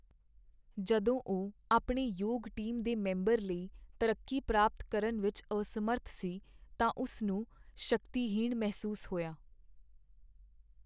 ਜਦੋਂ ਉਹ ਆਪਣੇ ਯੋਗ ਟੀਮ ਦੇ ਮੈਂਬਰ ਲਈ ਤਰੱਕੀ ਪ੍ਰਾਪਤ ਕਰਨ ਵਿੱਚ ਅਸਮਰੱਥ ਸੀ ਤਾਂ ਉਸ ਨੂੰ ਸ਼ਕਤੀਹੀਣ ਮਹਿਸੂਸ ਹੋਇਆ।